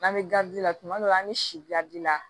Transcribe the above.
N'an bɛ la tuma dɔ la an bɛ siadi la